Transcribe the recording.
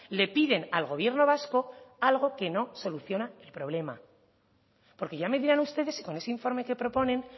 le piden al gobierno vasco algo que no soluciona el problema porque ya me dirán ustedes con ese informe que proponen